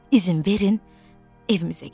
İzin verin, evimizə gedim.